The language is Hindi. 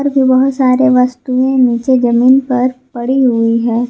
ये बहोत सारे वस्तुएं नीचे जमीन पर पड़ी हुई है।